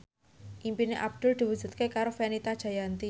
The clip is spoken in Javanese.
impine Abdul diwujudke karo Fenita Jayanti